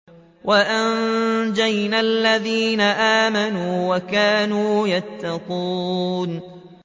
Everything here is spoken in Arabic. وَأَنجَيْنَا الَّذِينَ آمَنُوا وَكَانُوا يَتَّقُونَ